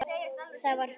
Það var fátt.